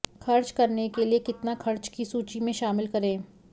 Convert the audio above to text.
खर्च करने के लिए कितना खर्च की सूची में शामिल करें